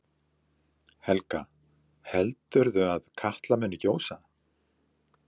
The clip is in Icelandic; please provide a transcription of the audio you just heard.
Helga: Heldur þú að Katla muni gjósa?